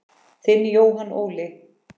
Þinn Jóhann Óli.